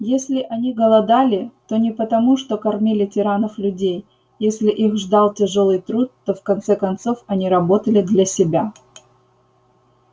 если они голодали то не потому что кормили тиранов-людей если их ждал тяжёлый труд то в конце концов они работали для себя